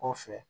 Kɔfɛ